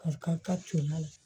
Ka ka comala